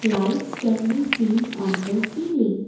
lights can be seen on the ceiling.